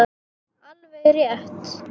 Alveg rétt.